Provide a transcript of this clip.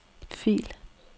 fil